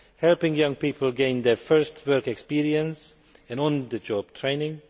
helping young people gain their first work experience and on the job training